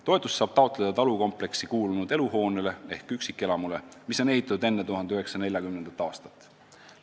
Toetust saab taotleda talukompleksi kuulunud eluhoonele ehk üksikelamule, mis on ehitatud enne 1940. aastat.